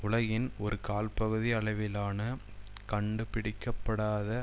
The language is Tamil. உலகின் ஒரு கால்பகுதி அளவிலான கண்டுபிடிக்க படாத